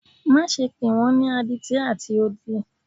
Maṣe pe wọn ni aditi ati odi!